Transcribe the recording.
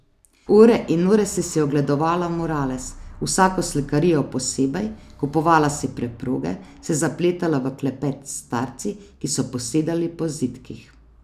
Ure in ure si si ogledovala murales, vsako slikarijo posebej, kupovala si preproge, se zapletala v klepet s starci, ki so posedali po zidkih.